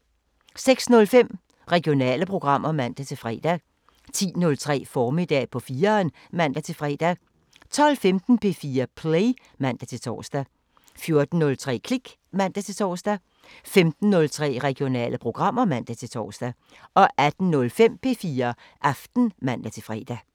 06:05: Regionale programmer (man-fre) 10:03: Formiddag på 4'eren (man-fre) 12:15: P4 Play (man-tor) 14:03: Klik (man-tor) 15:03: Regionale programmer (man-tor) 18:05: P4 Aften (man-fre)